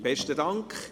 Besten Dank.